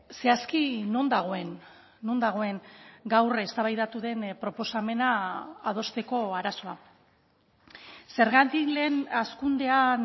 zehazki non dagoen non dagoen gaur eztabaidatu den proposamena adosteko arazoa zergatik lehen hazkundean